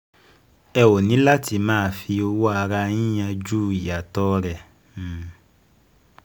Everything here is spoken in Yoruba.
Ẹ óò ní láti máa fi um owó ara yín yanjú um ìyàtọ̀ rẹ̀